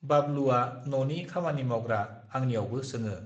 बाबलुआ न नि खामानि मावग्रा आंनिआवबो सोङो